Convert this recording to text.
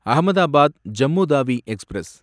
Ahmedabad Jammu Tawi express